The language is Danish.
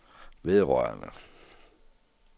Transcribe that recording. vedrørende